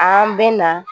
An bɛ na